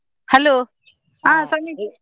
Hello ಆ ಸಮಿತ್.